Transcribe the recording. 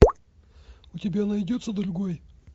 у тебя найдется другой